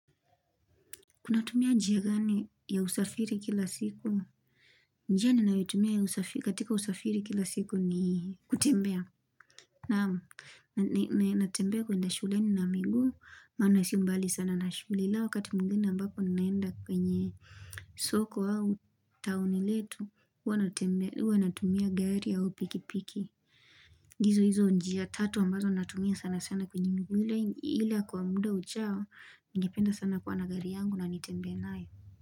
Unatumia njia gani ya usafiri kila siku? Njia ninayotumia ya usafi katika usafiri kila siku ni kutembea. Naam. Natembea kwenda shuleni na miguu, maana si mbali sana na shule. La wakati mwingine ambapo ninaenda kwenye soko au taoni letu, hua natumia gari au pikipiki. Hizo hizo njia tatu ambazo natumia sana sana kwenye miguu ila kwa muda ujao, Ningependa sana kuwa na gari yangu na nitembee nayo.